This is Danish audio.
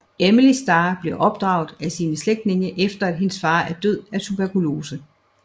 Emily Starr bliver opdraget af sine slægtninge efter at hendes far er død af tuberkulose